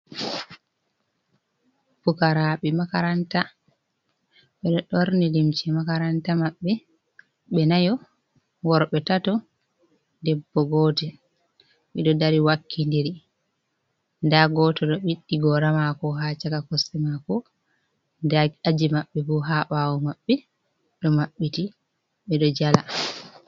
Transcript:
Pukaraɓe makaranta ɓeɗo ɓorni limci makaranta maɓɓe ɓe nayo, worɓe tato, debbo gotel, ɓeɗo dari wakkidiri nda goto ɗo ɓiddi gora maako haa shaka kosɗe maako, nda aji maɓɓe bo haa ɓaawo maɓɓe ɗo maɓɓiti ɓe ɗo jala.